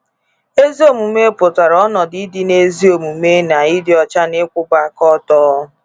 “Ezi omume” pụtara ọnọdụ ịdị n’ezi omume na ịdị ọcha n’ikwụba áká ọtọ.